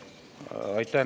Aitäh!